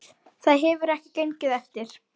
Það hefur ekki gengið eftir